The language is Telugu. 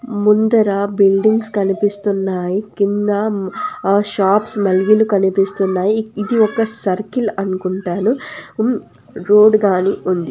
ముందర బిల్డింగ్స్ కనిపిస్తున్నాయి కింద మ ఆ షాప్స్ మలిగీలు కనిపిస్తున్నాయి ఈ ఇది ఒక్క సర్కిల్ అనుకుంటాను ఉమ్ రోడ్ గానీ ఉం--